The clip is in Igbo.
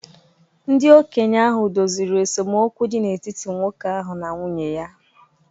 Ndị okenye ahụ doziri esemokwu dị n’etiti nwoke ahụ na nwunye ya